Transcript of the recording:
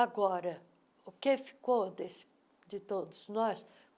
Agora, o que ficou desse de todos nós?